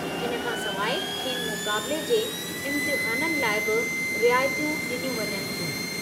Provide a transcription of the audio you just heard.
हिन खां सवाइ खेनि मुक़ाबिले जे इमतिहाननि लाइ बि रिआयतूं ॾिनियूं वञनि थियूं।